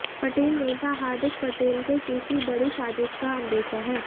पटेल नेता हार्दिक पटेल को किसी बड़ी साज़िश का अंदेशा है